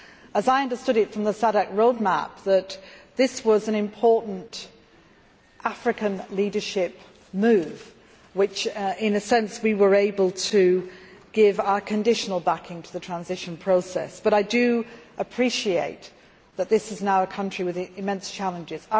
As I understood it from the SADC road map, this was an important African leadership move where, in a sense, we were able to give our conditional backing to the transition process, but I appreciate that this is now a country with immense challenges.